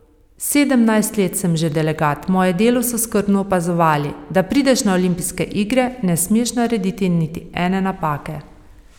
Sedemnajst let sem že delegat, moje delo so skrbno opazovali, da prideš na olimpijske igre, ne smeš narediti niti ene napake.